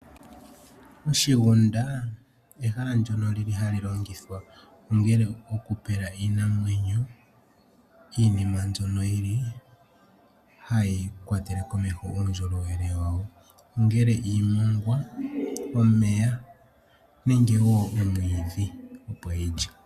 Oshigunda ehala ndyono li li hali longithwa ongele okupela iinamwenyo iinima mbyono hayi kwatele komeho uundjolowele wayo, ongele iimongwa, omeya nenge wo omwiidhi, opo yi lye.